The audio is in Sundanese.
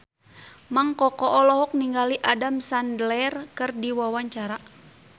Mang Koko olohok ningali Adam Sandler keur diwawancara